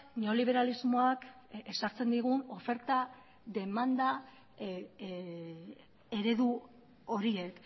neoliberalismoak ezartzen digun oferta demanda eredu horiek